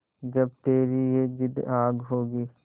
जब तेरी ये जिद्द आग होगी